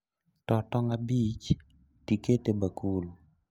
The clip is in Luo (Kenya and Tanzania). Too tong' abich tiket e bakul